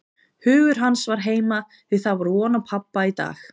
Hugur hans var heima, því það var von á pabba í dag.